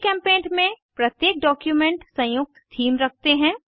जीचेम्पेंट में प्रत्येक डॉक्यूमेंट संयुक्त थीम रखते हैं